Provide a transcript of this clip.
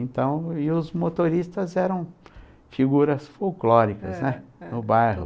Então os motoristas eram figuras folclóricas no bairro, né? É, é